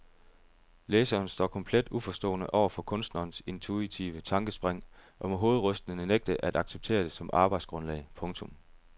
Læseren står komplet uforstående over for kunstnerens intuitive tankespring og må hovedrystende nægte at acceptere det som arbejdsgrundlag. punktum